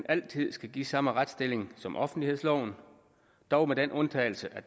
altid skal give samme retsstilling som offentlighedsloven dog med den undtagelse at